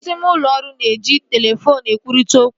Ọtụtụ ime ụlọ ọrụ na-eji telefoonu ekwurịta okwu